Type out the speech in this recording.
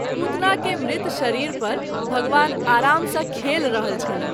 पुतना के मृत शरीर पर भगवान आराम सँ खेलि रहल छलाह।